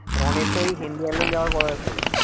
রনির তো ওই যাওয়ার কথা ছিল